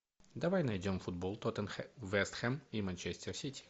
давай найдем футбол вест хэм и манчестер сити